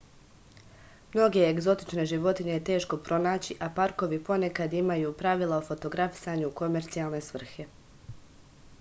mnoge egzotične životinje je teško pronaći a parkovi ponekad imaju pravila o fotografisanju u komercijalne svrhe